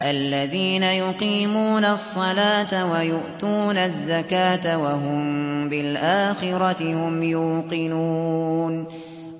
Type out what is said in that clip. الَّذِينَ يُقِيمُونَ الصَّلَاةَ وَيُؤْتُونَ الزَّكَاةَ وَهُم بِالْآخِرَةِ هُمْ يُوقِنُونَ